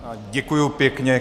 Děkuji pěkně.